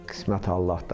Qismət Allahdan.